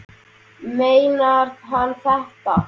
Meinar hann þetta?